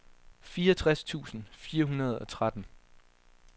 fireogtres tusind fire hundrede og tretten